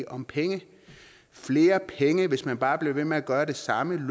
om penge flere penge problemer hvis man bare bliver ved med at gøre det samme